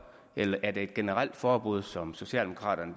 eller er det et generelt forbud som socialdemokraterne